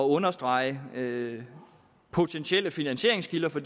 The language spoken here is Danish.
understrege potentielle finansieringskilder for